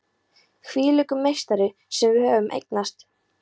Hvílíkur meistari sem við höfum eignast!